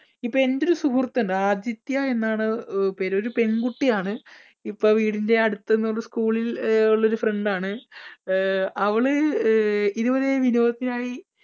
ഇപ്പോൾ എൻടെ ഒരു സുഹൃത്ത് ഉണ്ട് ആദിത്യ എന്നാണ് പേര് ഒരു പെൺകുട്ടിയാണ് ഇപ്പോൾ വീടിൻറെ അടുത്തുള്ള school ൽ ഉള്ള ഒരു friend ആണ്. അഹ് അവള് ഇതുപോലെ വിനോദത്തിനായി